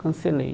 Cancelei.